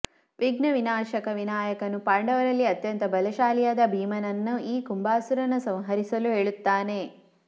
ವಿಘ್ನ ವಿನಾಶಕ ವಿನಾಯಕನು ಪಾಂಡವರಲ್ಲಿ ಅತ್ಯಂತ ಬಲಶಾಲಿಯಾದ ಭೀಮನನ್ನು ಈ ಕುಂಬಾಸುರನ ಸಂಹರಿಸಲು ಹೇಳುತ್ತಾನೆ